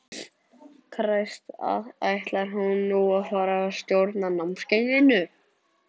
Kræst, ætlar hún nú að fara að stjórna námskeiðinu?